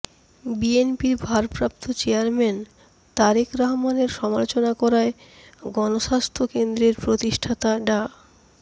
বিএনপির ভারপ্রাপ্ত চেয়ারম্যান তারেক রহমানের সমালোচনা করায় গণস্বাস্থ্য কেন্দ্রের প্রতিষ্ঠাতা ডা